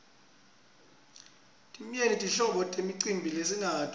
timyenti tinhlobo temicimbi lesinayo